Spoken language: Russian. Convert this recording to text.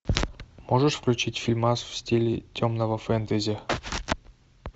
можешь включить фильмас в стиле темного фэнтези